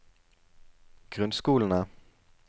grunnskolene